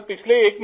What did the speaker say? group captain